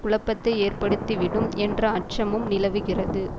குழப்பத்தை ஏற்படுத்திவிடும் என்ற அச்சமும் நிலவுகிறது